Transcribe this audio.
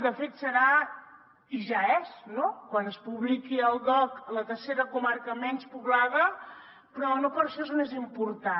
de fet serà i ja és no quan es publiqui al dogc la tercera comarca menys poblada però no per això és menys important